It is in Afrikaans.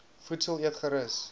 voedsel eet gerus